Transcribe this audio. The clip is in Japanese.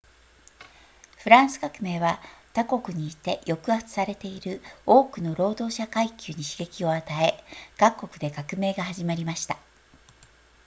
フランス革命は他国にいて抑圧されている多くの労働者階級に刺激を与え各国で革命が始まりました